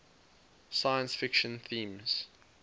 science fiction themes